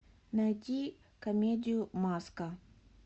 найди комедию маска